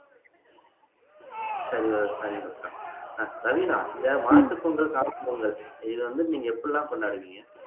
சரி சரிங்க மித்ரா ரவினா இந்த மாட்டுப்பொங்கல் நீங்க எப்படிலாம் கொண்டாடுவீங்க